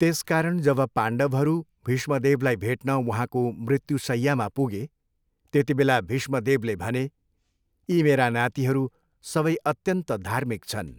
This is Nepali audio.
त्यसकारण जब पाण्डवहरू भीष्मदेवलाई भेट्न उहाँको मृत्युशैय्यामा पुगे त्यतिबेला भीष्मदेवले भने, यी मेरा नातिहरू सबै अत्यन्त धार्मिक छन्।